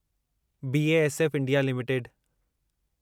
BASF India limited